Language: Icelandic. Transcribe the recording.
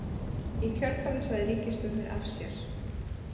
Í kjölfarið sagði ríkisstjórnin af sér